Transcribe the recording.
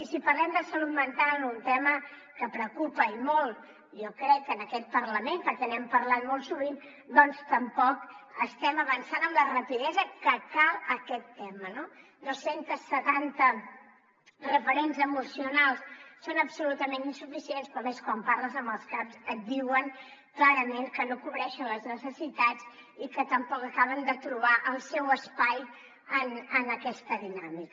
i si parlem de salut mental un tema que preocupa i molt jo crec en aquest parlament perquè n’hem parlat molt sovint doncs tampoc estem avançant amb la rapidesa que cal en aquest tema no dos cents setanta referents emocionals són absolutament insuficients però a més quan parles amb els caps et diuen clarament que no cobreixen les necessitats i que tampoc acaben de trobar el seu espai en aquesta dinàmica